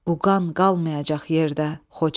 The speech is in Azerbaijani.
O qan qalmayacaq yerdə, Xocalı.